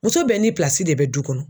Muso bɛɛ ni de bɛ du kɔnɔ